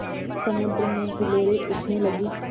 समुद्र में हिलोरें उठने लगीं